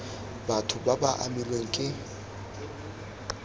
batho ba ba amilweng ke